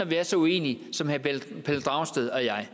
vi er så uenige som herre pelle dragsted og jeg